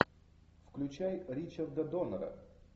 включай ричарда доннера